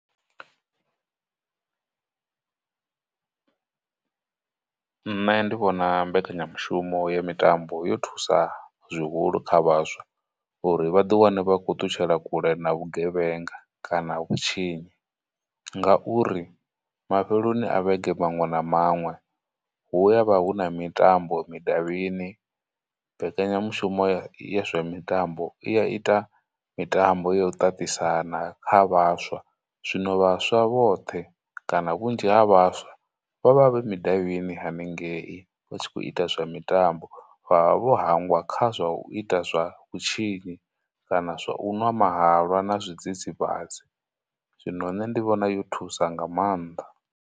Nṋe ndi vhona mbekanyamushumo ya mitambo yo thusa zwihulu kha vhaswa uri vhaḓi wane vha khou ṱutshela kule na vhugevhenga, kana vhutshinyi, ngauri mafheloni a vhege maṅwe na maṅwe hu avha hu na mitambo mudavhini, mbekanyamushumo ya zwa mitambo i ya ita mitambo ya u ṱaṱisana kha vhaswa, zwino vhaswa vhoṱhe kana vhunzhi ha vhaswa vha vha vhe mudavhini haningei vha tshi khou ita zwa mitambo, vha vha vho hangwa kha zwa u ita zwa vhutshinyi, kana zwa u ṅwa mahalwa na zwidzidzivhadzi. Zwino nṋe ndi vhona yo thusa nga maanḓa.